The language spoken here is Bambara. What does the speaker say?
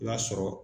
I b'a sɔrɔ